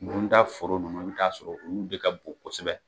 foro ninnu i bi t'a sɔrɔ olu de ka bon kosɛbɛ.